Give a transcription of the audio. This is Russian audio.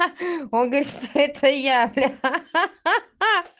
он говорит что это я бля